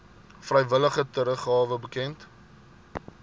vrywillige teruggawe bekend